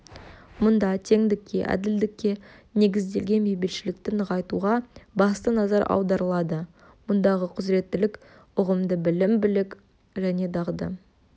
мұнда теңдікке әділдікке негізделген бейбітшілікті нығайтуға басты назар аударылады мұндағы құзыреттілік ұғымы білім білік және дағды